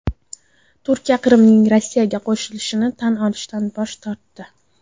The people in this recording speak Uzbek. Turkiya Qrimning Rossiyaga qo‘shilishini tan olishdan bosh tortdi.